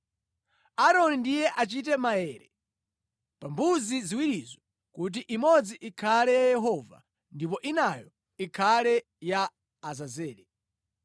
Aaroni ndiye achite maere pa mbuzi ziwirizo kuti imodzi ikhale ya Yehova, ndipo inayo ikhale ya Azazele.